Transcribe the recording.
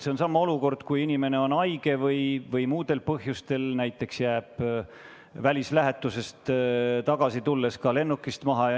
See on sama olukord, kui inimene on haige või jääb näiteks välislähetusest tagasi tulles lennukist maha.